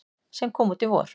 sem kom út í vor.